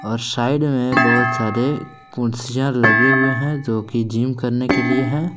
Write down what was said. और साइड में बहुत सारे कुर्सियां लगे हुए हैं जो कि जिम करने के लिए है।